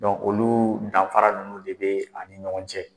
Dɔnku olu danfafara ninnu de bɛ ani ɲɔgɔn cɛ.